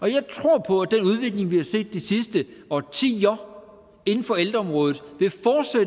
jeg tror på at den udvikling vi har set de sidste årtier inden for ældreområdet